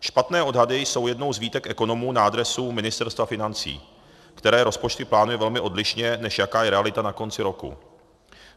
Špatné odhady jsou jednou z výtek ekonomů na adresu Ministerstva financí, které rozpočty plánuje velmi odlišně, než jaká je realita na konci roku.